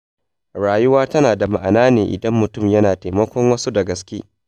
Rayuwa tana da ma’ana ne idan mutum yana taimakon wasu da gaske.